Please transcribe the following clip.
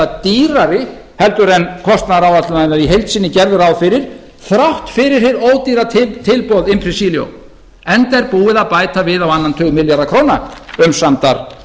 dýrari en kostnaðaráætlanirnar í heild sinni gerðu ráð fyrir þrátt fyrir hið ódýra tilboð impregilo enda er búið að bæta við á annan tug milljarða króna umsamdar